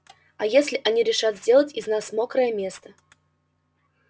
а если они решат сделать из нас мокрое место